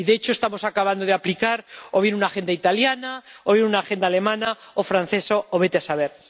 Y, de hecho, estamos acabando de aplicar o bien una agenda italiana o bien una agenda alemana o una francesa o vete a saber.